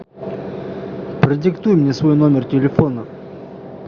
продиктуй мне свой номер телефона